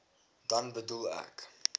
dan bedoel ek